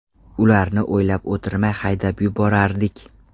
Ularni o‘ylab o‘tirmay haydab yuborardik.